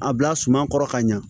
A bila suma kɔrɔ ka ɲa